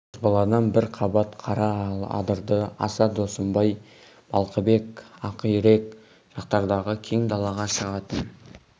қазбаладан бір қабат қара адырды аса досымбай балқыбек ақирек жақтардағы кең далаға шығатын